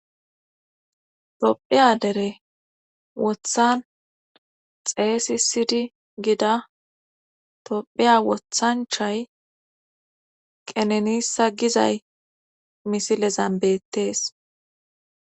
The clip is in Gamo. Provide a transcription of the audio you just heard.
Toophiya dere wothan xeeysi sidi gida tophiya wothanchay qenenissa gizay misile zambettees